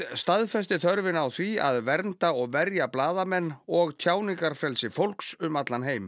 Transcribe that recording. staðfesti þörfina á því að vernda og verja blaðamenn og tjáningarfrelsi fólks um allan heim